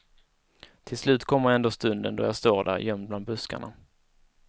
Till slut kommer ändå stunden då jag står där, gömd bland buskarna.